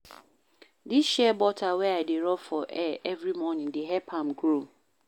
Dis shea butter wey I dey rob for hair every morning dey help am grow.